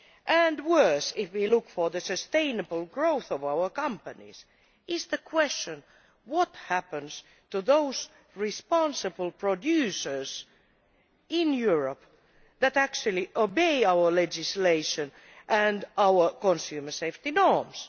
And worse, if we are looking for sustainable growth for our companies, there is the question of what happens to those responsible producers in Europe that actually obey our legislation and our consumer safety norms.